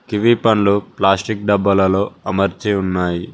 Kiwi పండ్లు plastic డబ్బాలలో అమర్చి ఉన్నాయి.